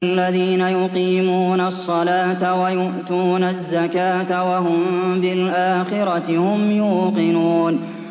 الَّذِينَ يُقِيمُونَ الصَّلَاةَ وَيُؤْتُونَ الزَّكَاةَ وَهُم بِالْآخِرَةِ هُمْ يُوقِنُونَ